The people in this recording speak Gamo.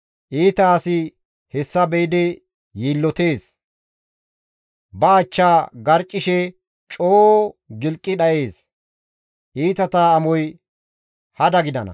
Iita asi hessa be7idi yiillotees; ba achchaa garccishe coo gilqi dhayees; iitata amoy hada gidana.